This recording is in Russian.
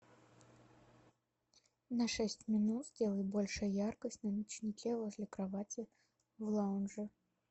на шесть минут сделай больше яркость на ночнике возле кровати в лаунже